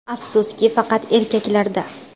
Afsuski, faqat erkaklarda.